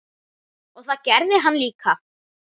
Og það gerði hann líka.